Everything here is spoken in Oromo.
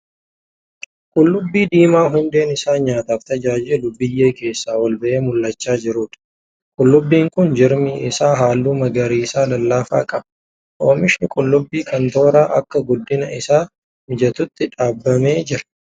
Qullubbii diimaa hundeen isaa nyaataaf tajaajilu biyyee keessaa ol ba'ee mul'achaa jiruudha. Qullubbiin kun jirmi isaa halluu magariisa lallaafaa qaba. Oomishni qullubbii kanaa tooraan akka guddina isaa mijatutti dhaabamee jirra.